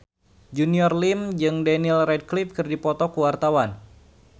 Junior Liem jeung Daniel Radcliffe keur dipoto ku wartawan